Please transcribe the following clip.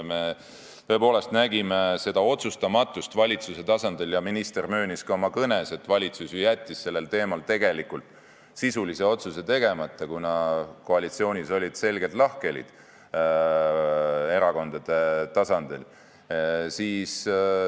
Me tõepoolest nägime otsustamatust valitsuse tasandil ja minister möönis ka oma kõnes, et valitsus jättis sellel teemal tegelikult sisulise otsuse tegemata, kuna koalitsioonis olid selged lahkhelid erakondade tasandil.